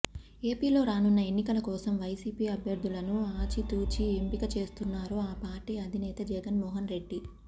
ఏపీలో రానున్న ఎన్నికల కోసం వైసీపీ అభ్యర్దులను ఆచితూచి ఎంపిక చేస్తున్నారు ఆ పార్టీ అధినేత జగన్ మోహన్ రెడ్డి